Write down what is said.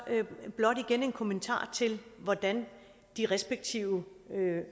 blot igen en kommentar til hvordan de respektive